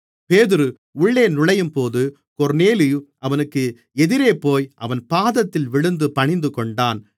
பேதுரு உள்ளே நுழையும்பொழுது கொர்நேலியு அவனுக்கு எதிரேபோய் அவன் பாதத்தில் விழுந்து பணிந்துகொண்டான்